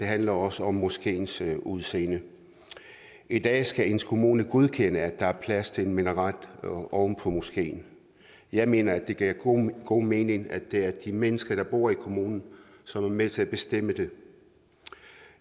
handler også om moskeens udseende i dag skal ens kommune godkende at der er plads til en minaret oven på moskeen jeg mener det giver god god mening at det er de mennesker der bor i kommunen som er med til at bestemme det